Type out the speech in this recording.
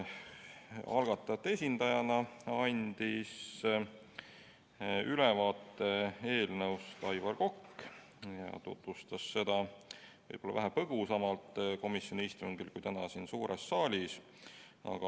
Algatajate esindajana andis ülevaate eelnõust Aivar Kokk, kes tutvustas seda komisjoni istungil vähe põgusamalt kui täna siin suures saalis.